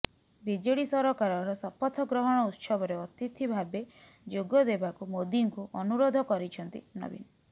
BJD ସରକାରର ଶପଥ ଗ୍ରହଣ ଉତ୍ସବରେ ଅତିଥି ଭାବେ ଯୋଗଦେବାକୁ ମୋଦିଙ୍କୁ ଅନୁରୋଧ କରିଛନ୍ତି ନବୀନ